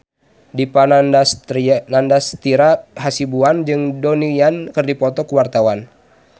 Dipa Nandastyra Hasibuan jeung Donnie Yan keur dipoto ku wartawan